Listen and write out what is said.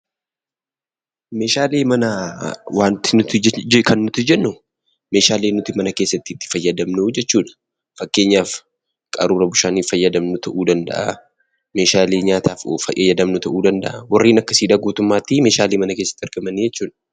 Meeshaalee manaa kan nuti jennu meeshaalee nuti mana keessatti itti fayyadamnuu jechuudha. Fakkeenyaaf qaruura bishaanii fayyadamnu ta'uu danda'a, meeshaalee nyaataaf fayyadamnu ta'uu danda'a warreen akkasii guutummaatti meeshaalee mana keessatti argaman jechuudha.